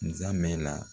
Nzamɛ la